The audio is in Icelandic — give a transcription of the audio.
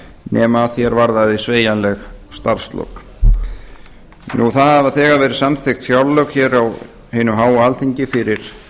nema að því er varðaði sveigjanleg starfslok það hafa þegar verið samþykkt fjárlög hér á hinu háa alþingi fyrir